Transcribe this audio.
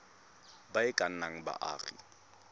ba e ka nnang baagi